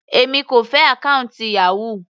Èmi kò fẹ́ àkọ́ùntì Yahoo.